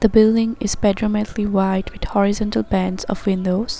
Building is white with horizontal bands of windows.